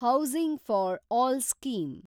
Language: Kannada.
housing for all scheme